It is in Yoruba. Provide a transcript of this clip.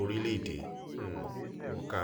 orílẹ̀-èdè um wọn ká